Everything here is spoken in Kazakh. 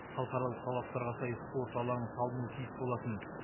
халықаралық талаптарға сай спорт алаңы салынуы тиіс болатын